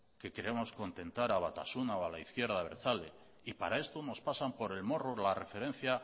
que queremos contentar a batasuna o a la izquierda abertzale y para esto nos pasan por el morro la referencia